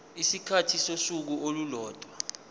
isikhathi sosuku olulodwa